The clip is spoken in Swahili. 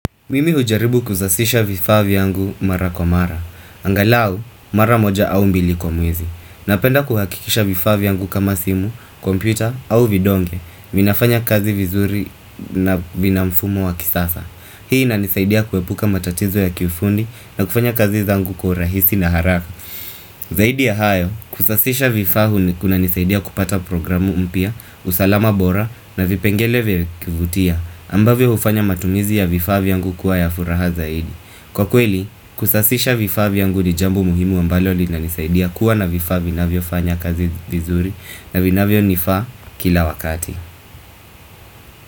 Mimi hujaribu kuzasisha vifaa vyangu mara kwa mara. Angalau, mara moja au mbili kwa mwezi. Napenda kuhakikisha vifaa vyangu kama simu, kompyuta au vidonge. Vinafanya kazi vizuri na vina mfumo wa kisasa. Hii inanisaidia kuepuka matatizo ya kiufundi na kufanya kazi zangu kwa rahisi na haraka. Zahidi ya hayo, kusasisha vifaa kunanisaidia kupata programu mpya, usalama bora na vipengele vya kuvutia. Ambavyo ufanya matumizi ya vifaa vyangu kuwa ya furaha zaidi Kwa kweli, kusasisha vifaa vyangu ni jambo muhimu ambalo linanisaidia kuwa na vifaa vinavyofanya kazi vizuri na vinavyo nifaa kila wakati.